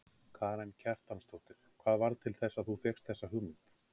Karen Kjartansdóttir: Hvað varð til þess að þú fékkst þessa hugmynd?